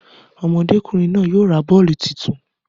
Ọmọdékùnrin náà yóò ra bọ́ọ̀lù tuntun